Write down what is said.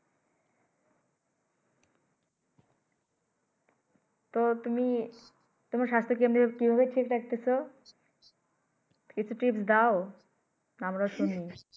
তো তুমি তোমার স্বাস্থ্য কেমনে কি ভাবে ঠিক রাখতেছো কিছু Tips দাও আমরাও শুনি।